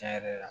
Tiɲɛ yɛrɛ la